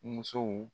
Musow